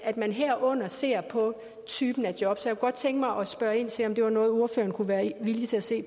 at man herunder ser på typen af job jeg kunne godt tænke mig at spørge ind til om det var noget ordføreren kunne være villig til at se